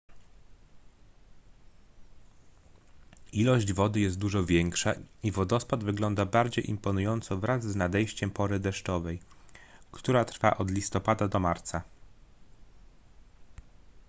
ilość wody jest dużo większa i wodospad wygląda bardziej imponująco wraz z nadejściem pory deszczowej która trwa od listopada do marca